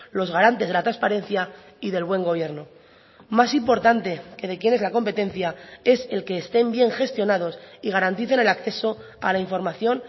los garantes de la transparencia y del buen gobierno más importante que de quién es la competencia es el que estén bien gestionados y garanticen el acceso a la información